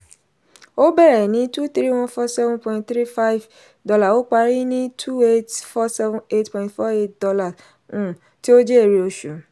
ó bẹ̀rẹ̀ ní $ twenty three thousand one hundred forty seven point three five ó parí ní $ twenty eight thousand four hundred seventy eight point four eight um tí ó jẹ́ èrè oṣù.